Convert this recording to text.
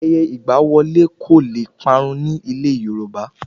Ayẹyẹ ìgba wọlé kò lè parun ní ilẹ̀ Yorùbá